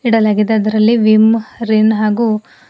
ಇಡಲಾಗಿದೆ ಅದರಲ್ಲಿ Vim Rin ಹಾಗು--